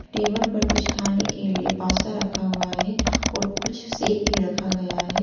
Table पर कुछ खाने के लिए पास्ता रखा हुआ है और कुछ शेक भी रखा गया है।